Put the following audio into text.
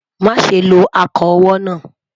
má sé ló ako owó nà